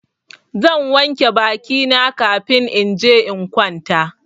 Zan wanke baki na kafin in je in kwanta.